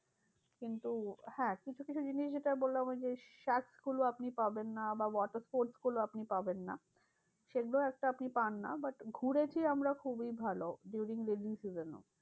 কিন্তু হ্যাঁ কিছু কিছু জিনিস যেটা বললাম ওইযে গুলো আপনি পাবেন না বা watersports গুলো আপনি পাবেন না। সেগুলো একটা আপনি পান না but ঘুরেছি আমরা খুবই ভালো during rainy season এও।